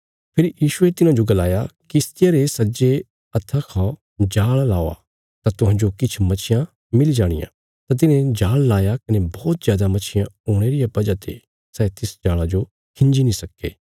फेरी यीशुये तिन्हांजो गलाया किश्तिया रे सज्जे हत्था खा जाल़ लावा तां तुहांजो किछ मच्छियां मिली जाणियां तां तिन्हें जाल़ लाया कने बौहत जादा मच्छियां हुणे रिया वजह ते सै तिस जाल़ा जो खिंजी नीं सक्के